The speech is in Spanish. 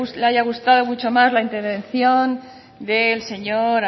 haya gustado mucho más la intervención del señor